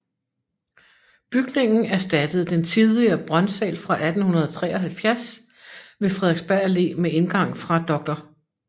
Bygningen erstattede den tidligere Brøndsal fra 1873 ved Frederiksberg Allé med indgang fra Dr